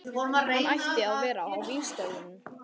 Hann ætti að vera á vígstöðvunum.